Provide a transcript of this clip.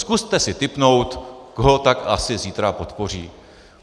Zkuste si tipnout, koho tak asi zítra podpoří.